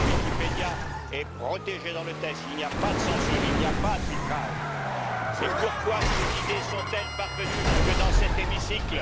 Wikipédia est protégé dans le texte, il n'y a pas de censure, il n'y a pas de filtrage, et pourquoi ces idées sont elles parvenues jusque dans cet hémicycle?